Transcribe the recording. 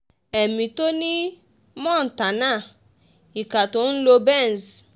ẹ̀ní to nì montana ìkà tó ń lo benz